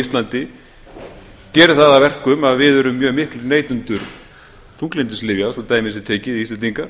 íslandi geri það að verkum að við erum mjög miklir neytendur þunglyndislyfja svo dæmi sé tekið íslendingar